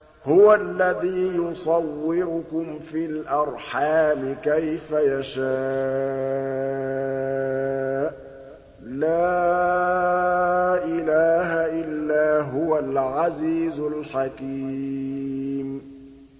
هُوَ الَّذِي يُصَوِّرُكُمْ فِي الْأَرْحَامِ كَيْفَ يَشَاءُ ۚ لَا إِلَٰهَ إِلَّا هُوَ الْعَزِيزُ الْحَكِيمُ